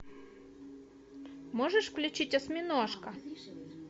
можешь включить осьминожка